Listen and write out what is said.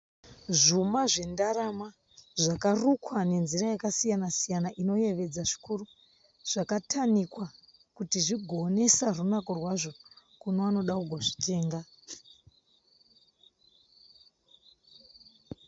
Zvuma zvendarama zvakarukwa nenzira yakasiyana siyana inoyevedza zvikuru zvakatanikwa kuti zvigoonesa runako rwazvo kune vanoda kuzozvitenga.